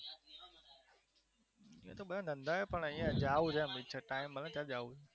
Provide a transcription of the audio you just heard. એ તો બધાને ધંધા છે પણ અહિયાં જવું છે એમ ટાઈમ મળે તો જવું